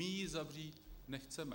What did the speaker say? My ji zavřít nechceme.